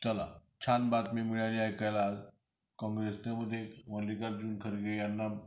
चला छान बातमी मिळाली ऐकायला आज काँग्रेसने यांना